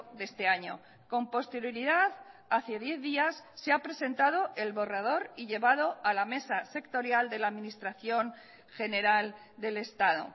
de este año con posterioridad hace diez días se ha presentado el borrador y llevado a la mesa sectorial de la administración general del estado